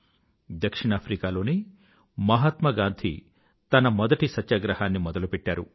దక్షిణాఫ్రికాలోనే మహాత్మా గాంధీ తన మొదటి సత్యాగ్రహాన్ని మొదలుపెట్టారు